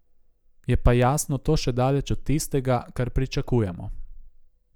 Je pa jasno to še daleč od tistega, kar pričakujemo.